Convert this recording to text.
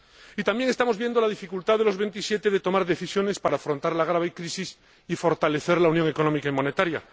Y también estamos viendo la dificultad de los Veintisiete a la hora de tomar decisiones para afrontar la grave crisis y fortalecer la unión económica y monetaria.